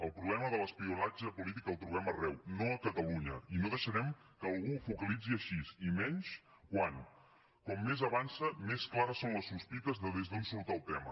el problema de l’espionatge polític el trobem arreu no a catalunya i no deixarem que algú ho focalitzi així i menys quan com més avança més clares són les sospites de des d’on surt el tema